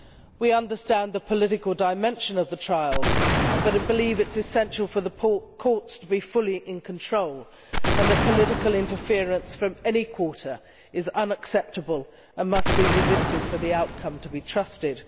We understand the political dimension of the trials, but believe it is essential for the courts to be fully in control and that political interference from any quarter is unacceptable and must be resisted for the outcome to be trusted.